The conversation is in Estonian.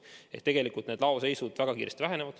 Nii et tegelikult väheneb laoseis väga kiiresti.